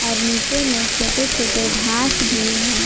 और नीचे में छोटे छोटे घास भी हैं।